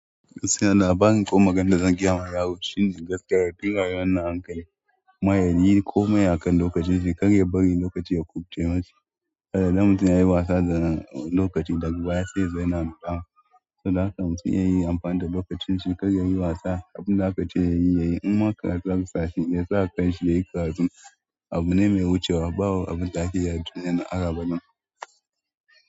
Siyana, bani ko maganar da zan gira masa ya wuce shin gaskiya, ya fiye wannan an kai, mawuyayi komai akan lokacin shi, kar ya bari lokaci ya ƙubuce mashi. Saboda idan mutun yayi wasa da lokaci daga baya sai yazo yana zama damuwa. Saboda haka mutum ya yi amfani da lokacin shi, kar ya yi wasa abin da aka ce ya yi, ya yi. In ma karatu aka sashi, ya sa kanshi ya yi ƙaratun abu ne mai wucewa ba abin da ake yi a duniyar nan har abada.